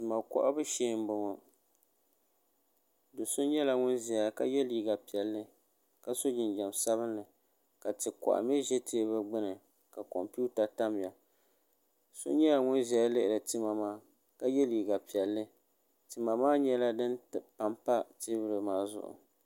tima kohibu shɛɛ n bɔŋɔ do so nyɛla ŋɔ zaya ka yɛ liga piɛli ma so jinjam sabinli ka ti koha mi ʒɛ tɛbuli gbani ka kompɛwuta tamiya so nyɛla ŋɔ ʒɛya lihiri tima maa ka yɛ liga piɛli tima maa nyɛla dini pampa tɛbuli maa zuɣ